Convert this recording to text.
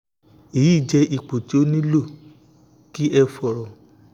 eyi jẹ ipo ti o nilo ki ẹ fọrọ